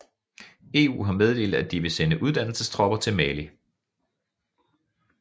EU har meddelt at de vil sende uddannelsestropper til Mali